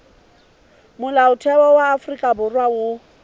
molaotheo wa afrika borwa o